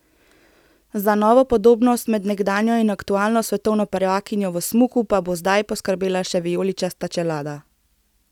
Za novo podobnost med nekdanjo in aktualno svetovno prvakinjo v smuku pa bo zdaj poskrbela še vijoličasta čelada.